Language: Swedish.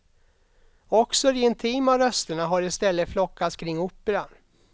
Också de intima rösterna har i stället flockats kring operan.